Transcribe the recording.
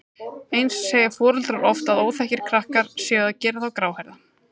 Eins segja foreldrar oft að óþekkir krakkar séu að gera þá gráhærða.